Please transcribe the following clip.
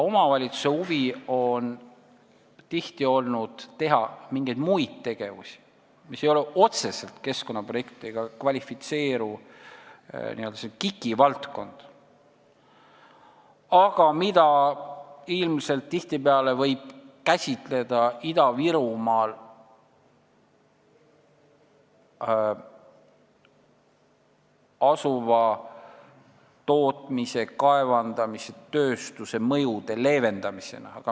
Omavalitsuste huvi on tihti teha mingeid muid tegevusi, mis ei kvalifitseeru otseselt keskkonnaprojektidena ehk KIK-i valdkonda, aga mida võib tihtipeale käsitleda Ida-Virumaal asuva tootmise, kaevandamise, tööstuse mõjude leevendamisena.